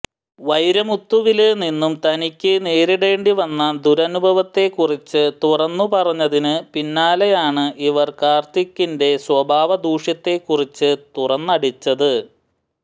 വൈരമുത്തുവില് നിന്നും തനിക്ക് നേരിടേണ്ടി വന്ന ദുരനുഭവത്തെക്കുറിച്ച് തുറന്നുപറഞ്ഞതിന് പിന്നാലെയായാണ് ഇവര് കാര്ത്തിക്കിന്രെ സ്വഭാവ ദൂഷ്യത്തെക്കുറിച്ച് തുറന്നടിച്ചത്